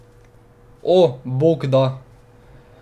O, Bog, da.